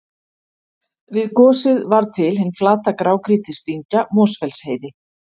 Við gosið varð til hin flata grágrýtisdyngja Mosfellsheiði.